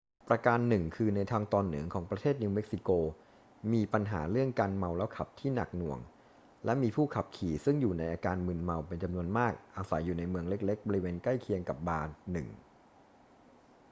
ประการหนึ่งคือในทางตอนเหนือของประเทศนิวเม็กซิโกมีปัญหาเรื่องการเมาแล้วขับที่หนักหน่วงและมีผู้ขับขี่ซึ่งอยู่ในอาการมึนเมาเป็นจำนวนมากอาศัยอยู่ในเมืองเล็ก ๆ บริเวณใกล้เคียงกับบาร์ 1